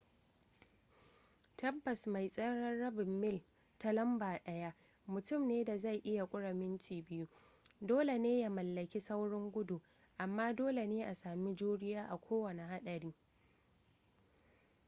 tabbas mai tseren rabin mil ta lamba daya mutumin da zai iya kure minti biyu dole ne ya mallaki saurin gudu amma dole ne a sami juriya a kowane haɗari